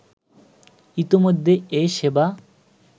ইতিমধ্যে এ সেবা